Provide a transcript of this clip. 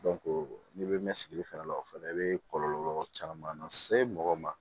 n'i bɛ mɛn sigili fɛnɛ la o fɛnɛ i bɛ kɔlɔlɔ caman na se mɔgɔ ma